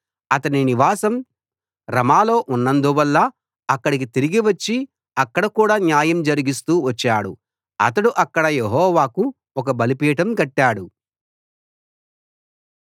అతని నివాసం రమాలో ఉన్నందువల్ల అక్కడికి తిరిగి వచ్చి అక్కడ కూడా న్యాయం జరిగిస్తూ వచ్చాడు అతడు అక్కడ యెహోవాకు ఒక బలిపీఠం కట్టాడు